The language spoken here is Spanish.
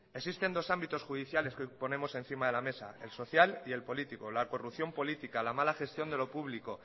existen dos ámbitos judiciales que hoy ponemos encima de la mesa el social y el político la corrupción política la mala gestión de lo público